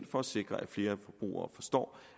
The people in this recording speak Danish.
for at sikre at flere forbrugere forstår